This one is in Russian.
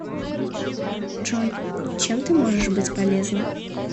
джой чем ты можешь быть полезна